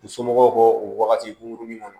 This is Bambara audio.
U somɔgɔw k'o wagati gungurunin kɔnɔ